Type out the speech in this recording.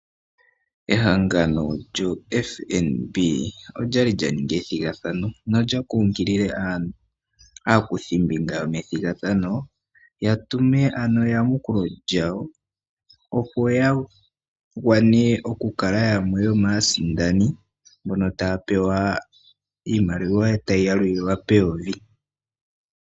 Ehangano lyoFnb okwali lyaningi ethigathano nolya kunkilile aakuthimbinga yomathigathano yatume ano eyamukulo lyawo opo yagwane okukala yamwe yomaasindani mboka taya pewa eyovi.